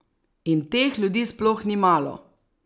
In teh ljudi sploh ni malo!